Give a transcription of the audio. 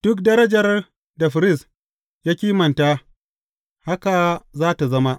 Duk darajar da firist ya kimanta, haka za tă zama.